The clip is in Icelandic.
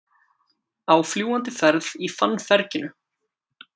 Á fljúgandi ferð í fannferginu